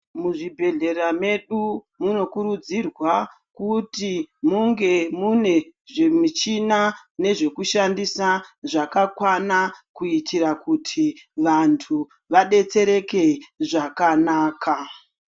Muzvibhedhlera mwedu munokuridzirwa kuti munge mune zvimichina zvekushandisa zvakakwana kuitira kuti vantu vadetsereke zvakanaka.